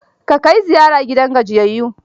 Ka kai ziyara gidan gajiyayyu.